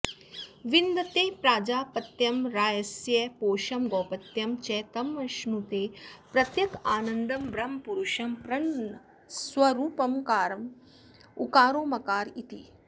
विन्दते प्राजापत्यं रायस्पोषं गौपत्यं च तमश्नुते प्रत्यगानन्दं ब्रह्मपुरुषं प्रणवस्वरूपमकार उकारो मकार इति